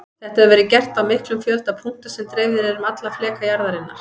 Þetta hefur verið gert á miklum fjölda punkta sem dreifðir eru um alla fleka jarðarinnar.